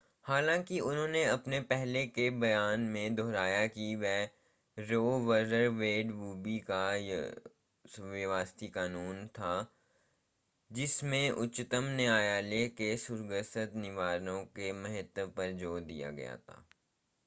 हालांकि उन्होंने अपने पहले के बयान को दोहराया कि रो वर्सस वेड भूमि का व्यवस्थित कानून था जिस में उच्चतम न्यायालय के सुसंगत निर्णयों के महत्व पर जोर दिया गया था